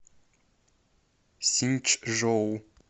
синьчжоу